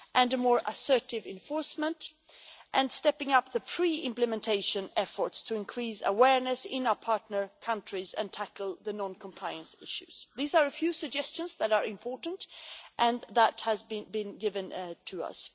and more assertive enforcement and stepping up of pre implementation efforts in order to increase awareness in our partner countries and tackle non compliance issues. These are a few suggestions that are important and that have been given to us.